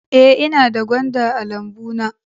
Ee, ina da gwanda a lambuna